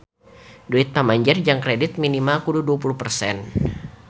Duit pamanjer jang kredit mobil minimal kudu dua puluh persen